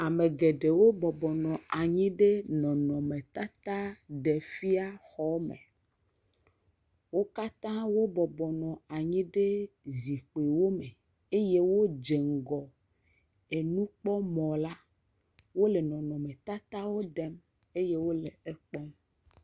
ame geɖewo bɔbɔ nɔ anyi ɖe nɔnɔme tata ɖefia xɔme wókatã wó bɔbɔ nɔ anyi ɖe zikpiwo me eye wó dze ŋgɔ enukpɔ mɔ la wóle nɔnɔme tatawo ɖem eye wóle kpɔkpɔm